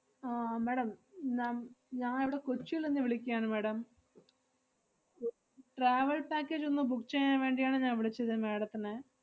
ആഹ് madam നം~ ഞാ~ ഇവിടെ കൊച്ചിലിന്ന് വിളിക്കാണ് madam travel package ഒന്ന് book ചെയ്യാൻ വേണ്ടിയാണ് ഞാ~ വിളിച്ചത് madam ത്തിനെ